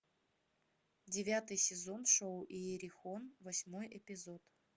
девятый сезон шоу иерихон восьмой эпизод